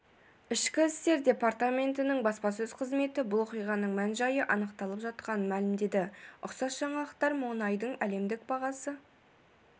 ішкі істер департаментінің баспасөз қызметі бұл оқиғаның мән-жайы анықталып жатқанын мәлімдеді ұқсас жаңалықтар мұнайдың әлемдік бағасы